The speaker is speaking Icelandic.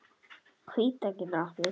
Hvíta getur átt við